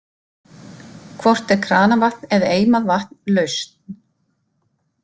Hvort er kranavatn eða eimað vatn lausn?